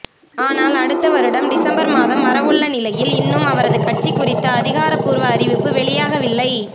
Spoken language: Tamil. ஆனால் அடுத்த வருடம் டிசம்பர் மாதம் வரவுள்ள நிலையில் இன்னும் அவரது கட்சி குறித்த அதிகாரபூர்வ அறிவிப்பு வெளியாகவில்லை